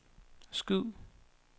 skyd